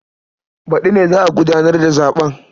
Baɗi ne za a gudanar da zaɓen.